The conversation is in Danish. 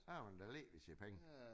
Så har man da let ved sine penge